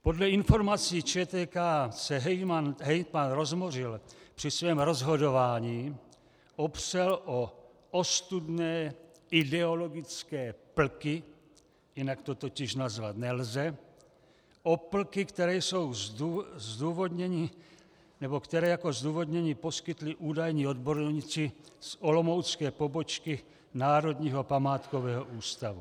Podle informací ČTK se hejtman Rozbořil při svém rozhodování opřel o ostudné ideologické plky, jinak to totiž nazvat nelze, o plky, které jako zdůvodnění poskytli údajní odborníci z olomoucké pobočky Národního památkového ústavu.